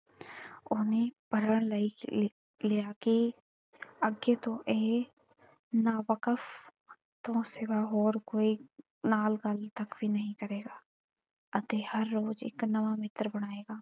ਉਹਨੇ ਪ੍ਰਣ ਲਏ ਲਿਆ ਕਿ ਅਗੇ ਤੋਂ ਇਹ ਨਾਵਕਫ ਤੋਂ ਸਿਵਾ ਹੋਰ ਕੋਈ ਨਾਲ ਗੱਲ ਤਕ ਵੀ ਨਹੀਂ ਕਰੇਗਾ ਅਤੇ ਹਰ ਰੋਜ ਇਕ ਨਵਾਂ ਮਿੱਤਰ ਬਣਾਏਗਾ।